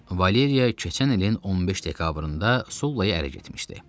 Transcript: Valeriya keçən ilin 15 dekabrında Sullaya ərə getmişdi.